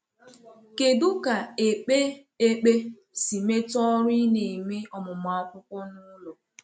Kédú ka ékpè ekpé si metụ ọrụ ị na-eme ọmụmụ akwụkwọ n’ụlọ?